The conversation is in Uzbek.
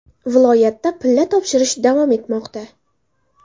Viloyatda pilla topshirish davom etmoqda.